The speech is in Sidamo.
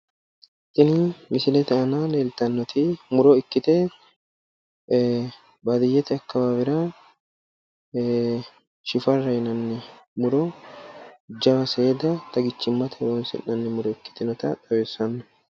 Tini misilete aana leeltannoti muro ikkite baaddiyyete akkawaawera shifarra yinanni muro jawa seeda xagichimmate horonsi'nanni muro ikkitinota xawissanno.